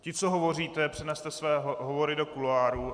Ti, co hovoříte, přeneste své hovory do kuloárů.